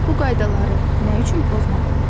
Bu qaydaları nə üçün pozmaq olmaz?